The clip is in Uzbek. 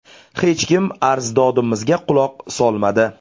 Hech kim arz-dodimizga quloq solmadi.